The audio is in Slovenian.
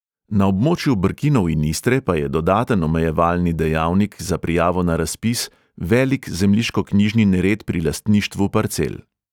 Na območju brkinov in istre pa je dodaten omejevalni dejavnik za prijavo na razpis velik zemljiškoknjižni nered pri lastništvu parcel.